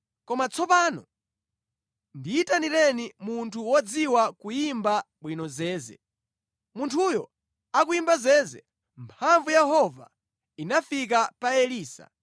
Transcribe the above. Koma tsopano ndiyitanireni munthu wodziwa kuyimba bwino zeze.” Munthuyo akuyimba zeze, mphamvu ya Yehova inafika pa Elisa,